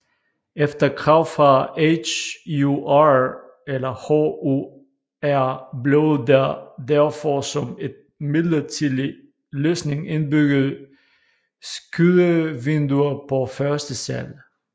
Efter krav fra HUR blev der derfor som et midlertidig løsning indbygget skydevinduer på første sal